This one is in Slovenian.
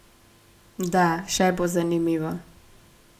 Da, še bo zanimivo.